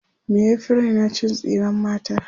me ya Fi Raina cin tsiran mata